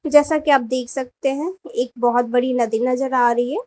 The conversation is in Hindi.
जैसा कि आप देख सकते हैं एक बहोत बड़ी नदी नजर आ रही है।